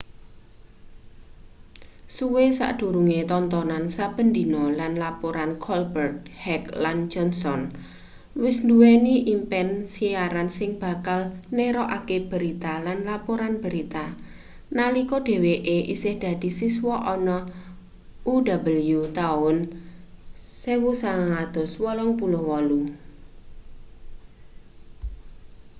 suwe sadurunge tontonan saben dina lan laporan colbert heck lan johnson wis nduweni impen siaran sing bakal nerokake berita-lan laporan berita-nalika dheweke isih dadi siswa ana uw taun 1988